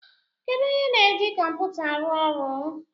Kedụ onye na-eji kọmputa a arụ ọrụ?